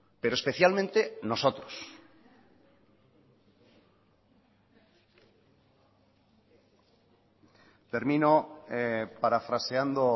pero especialmente nosotros termino parafraseando